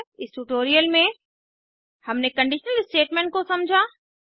इस ट्यूटोरियल में हमने कंडीशनल स्टेटमेंट्स को समझा